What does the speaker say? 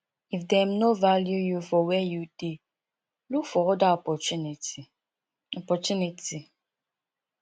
if dem no value you for where you dey look for oda opportunity opportunity